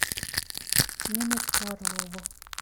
ниночку орлову